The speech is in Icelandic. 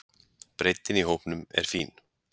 Breiddin í hópnum er fín.